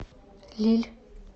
лилль